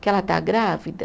Que ela está grávida?